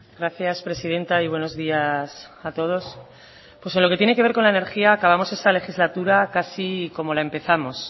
gracias presidenta y buenos días a todos pues en lo que tiene que ver con la energía acabamos esta legislatura casi como la empezamos